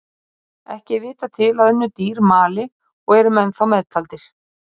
Ekki er vitað til að önnur dýr mali og eru menn þá meðtaldir.